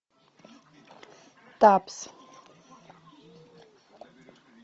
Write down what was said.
табс